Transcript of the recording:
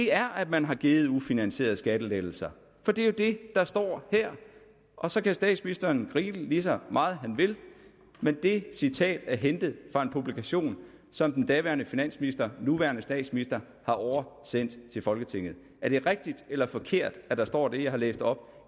er at man har givet ufinansierede skattelettelser for det er jo det der står her og så kan statsministeren grine lige så meget han vil men det citat er hentet fra en publikation som den daværende finansminister nuværende statsminister har oversendt til folketinget er det rigtigt eller forkert at der står det jeg har læst op